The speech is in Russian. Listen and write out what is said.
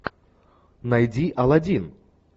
найди аладдин